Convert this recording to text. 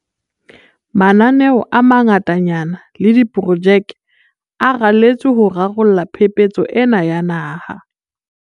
Mananeo a mangatanyana le diprojeke a raletswe ho rarolla phephetso ena ya naha.